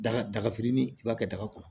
Daga daga fitinin i b'a kɛ daga kɔnɔ